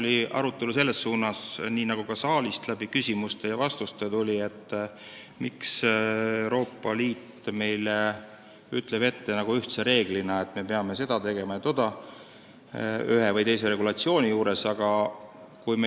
Pigem kaldus arutelu sellesse suunda, nagu ka siin saalis küsimustest ja vastustest välja tuli, et miks Euroopa Liit ütleb meile ette ühtse reeglina, et me peame ühe või teise regulatsiooni puhul tegema seda ja toda.